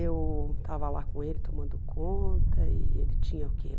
Eu estava lá com ele tomando conta e ele tinha o quê?